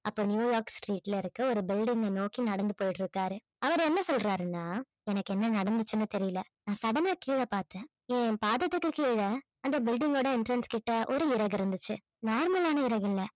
அப்ப New York street ல இருக்கிற ஒரு building அ நோக்கி நடந்து போயிட்டு இருக்காரு அவரு என்ன சொல்றாருன்னா எனக்கு என்ன நடந்துச்சுன்னு தெரியல நான் sudden ஆ கீழ பார்த்தேன் என் பாதத்துக்கு கீழே அந்த building ஓட entrance கிட்ட ஒரு இறகு இருந்துச்சு normal ஆன இறகு இல்ல